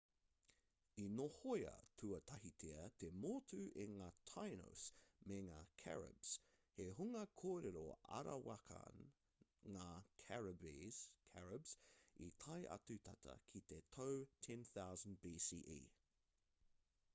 i nohoia tuatahitia te motu e ngā tainos me ngā caribes he hunga kōrero-arawakan ngā caribes i tae atu tata ki te tau 10,000 bce